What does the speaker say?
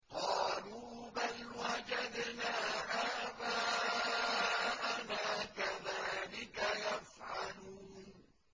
قَالُوا بَلْ وَجَدْنَا آبَاءَنَا كَذَٰلِكَ يَفْعَلُونَ